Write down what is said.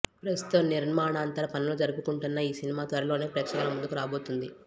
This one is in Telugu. ప్రస్తుతం నిర్మాణాంతర పనులు జరుపుకుంటున్న ఈ సినిమా త్వరలోనే ప్రేక్షకుల ముందుకి రాబోతున్నది